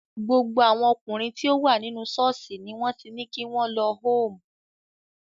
Gbogbo àwọn ọkùnrin tí ó wà nínú ṣọ́ọ̀ṣì ni wọ́n ti ní kí wọ́n lọ hoome.